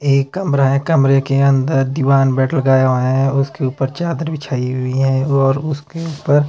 एक कमरा है कमरे के अंदर दीवान बेड लगाए हुए हैं उसके ऊपर चादर बिछीई हुई है और उसके ऊपर--